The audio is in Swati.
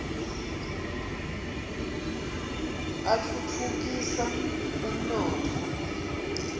atfutfu kisa umnotfo